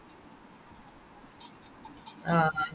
ആഹ് ആ